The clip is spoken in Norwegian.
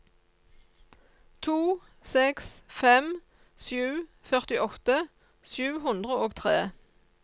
to seks fem sju førtiåtte sju hundre og tre